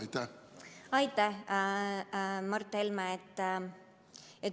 Aitäh, Mart Helme!